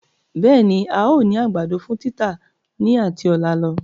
Bẹẹni, Áà ó ní àgbàdo fún títà ni ati ọ̀la lọ.